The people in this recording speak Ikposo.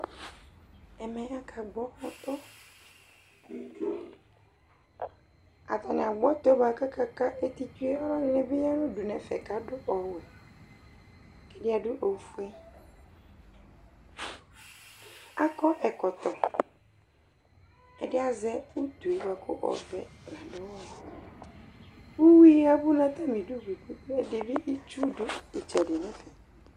Ɛmɛ aka gbɔ ɔtɔ; atanɩ agbɔ ɔtɔɛ bʋa kaka ka eti tsueƆlʋ ɛdɩnɩ bɩ ya nʋ udu nɛfɛ kadʋ ɔwɛ, ɛdɩ adʋ ofueAkɔ ɛkɔtɔ, ɛdɩ azɛ utu yi ɛkʋ ɔvɛUyui yavʋ natamidu bɩ kɛvɛ bɩ itsu dʋ ɩtsɛdɩ nɛfɛ